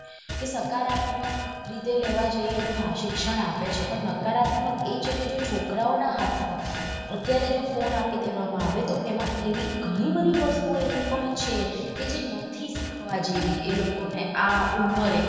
કે સકારાત્મક રીતે લેવા જઇયે તો હા શિક્ષણ આપે છે પણ નકારાત્મક એ છેકે જો છોકરાઓ ના હાથ માં અત્યારે જો phone આપી દેવા માં આવે તો એમાં એવી ગણી બધી વસ્તુઓ એવી પણ છે જે નથી શીખવા જેવી એ લોકોને આ ઉંમરે.